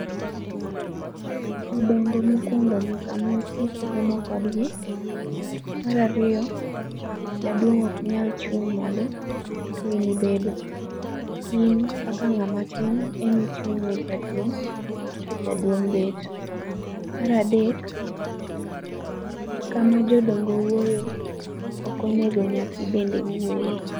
Jodongo mokuongo nyaka mosi kiromo kodgi. Mar ariyo, jaduong' ok nyal chung' malo to in ibedo. In kaka ng'ama tin emi ichung' ne jaduong' to jaduong' bet. Mar adek, kama jodongo wuoyo ok onego nyathi bende wuoye